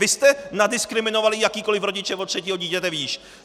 Vy jste nadiskriminovali jakékoli rodiče od třetího dítěte výš.